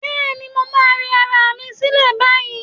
Bẹ́ẹ̀ni, mo máa rẹ ara mi sílẹ̀ báyìí.